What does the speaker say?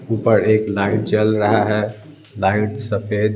ऊपर एक लाइट जल रहा है लाइट सफेद--